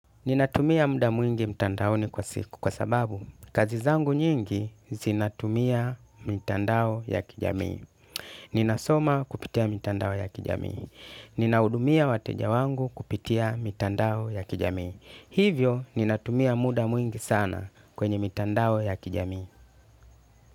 Ninatumia muda mwingi mtandaoni kwa siku. Kwa sababu, kazi zangu nyingi zinatumia mitandao ya kijamii. Ninasoma kupitia mtandao ya kijamii. Ninahudumia wateja wangu kupitia mitandao ya kijamii. Hivyo, ninatumia muda mwingi sana kwenye mtandao ya kijamii.